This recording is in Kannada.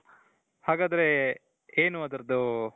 ಹಾಗಾದರೆ ಏನು ಅದರ್ದು